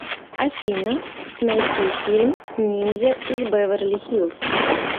афина найти фильм ниндзя из беверли хиллз